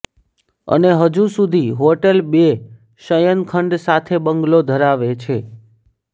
અને હજુ સુધી હોટેલ બે શયનખંડ સાથે બંગલો ધરાવે છે